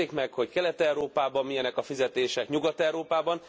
Hát nézzék meg, hogy Kelet Európában milyenek a fizetések, Nyugat Európában.